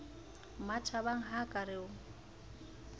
mmathabang ha ke re o